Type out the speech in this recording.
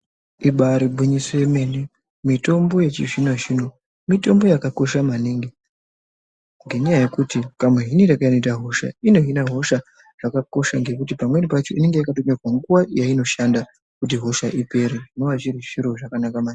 Ibari gwinyiso remene mitombo yechizvino zvino mitombo yakakosha maningi ngenyaya yekuti kamuhiniro kanoita hosha inohina hosha zvakakosha ngekuti pamweni pacho inenge yakawanda panguva yainoshanda kuti hosha ipere zvinova zviri zviro zvakanaka.